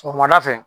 Sɔgɔmada fɛ